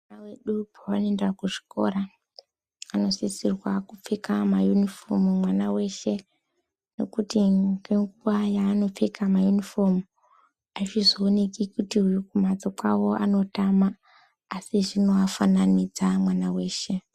Ana edu pawanoenda kuzvikora anosisirwa kupfeka mayunifomu mwana weshe nekuti ngenguwa yaanopfeka mayunifomu azvizooneki kuti uyu kumphatso kwawo anotama asi zvinoafananidza mwana weshe.